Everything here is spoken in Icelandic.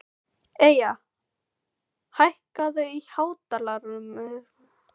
Eyja, hækkaðu í hátalaranum.